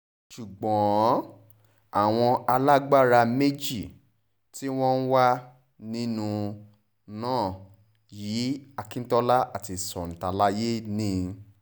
ṣùgbọ́n àwọn alágbára méjì tí wọ́n wà nínú nna yìí akintola àti santalaye ni